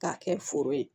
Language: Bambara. K'a kɛ foro ye